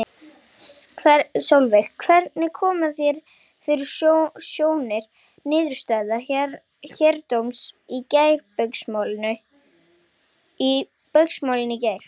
Sólveig: Hvernig koma þér fyrir sjónir niðurstaða héraðsdóms í Baugsmálinu í gær?